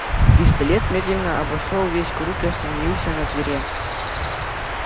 пистолет медленно обошёл весь круг и остановился на твере